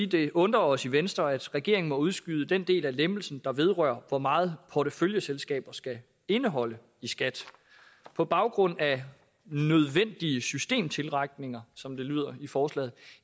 det undrer os i venstre at regeringen må udskyde den del af lempelsen der vedrører hvor meget porteføljeselskaber skal indeholde i skat på baggrund af nødvendige systemtilretninger som det lyder i forslaget